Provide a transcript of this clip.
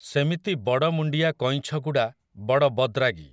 ସେମିତି ବଡ଼ମୁଣ୍ଡିଆ କଇଁଛଗୁଡ଼ା ବଡ଼ ବଦ୍‌ରାଗି ।